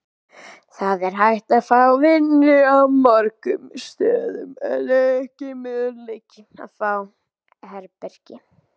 Það er hægt að fá vinnu á mörgum stöðum en ekki möguleiki að fá herbergi.